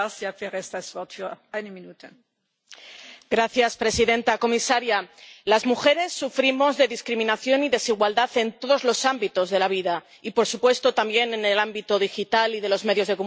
Señora presidenta, comisaria, las mujeres sufrimos discriminación y desigualdad en todos los ámbitos de la vida y, por supuesto, también en el ámbito digital y de los medios de comunicación.